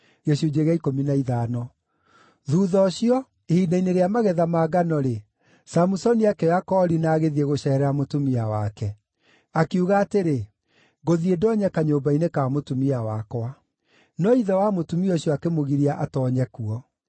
Thuutha ũcio, ihinda-inĩ rĩa magetha ma ngano-rĩ, Samusoni akĩoya koori na agĩthiĩ gũceerera mũtumia wake. Akiuga atĩrĩ, “Ngũthiĩ ndoonye kanyũmba-inĩ ka mũtumia wakwa.” No ithe wa mũtumia ũcio akĩmũgiria atoonye kuo.